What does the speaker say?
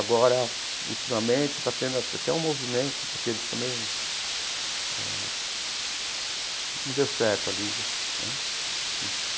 Agora, ultimamente, está tendo até um movimento, porque eles também eh... Não deu certo a Liga né.